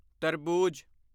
ਤਰਬੂਜ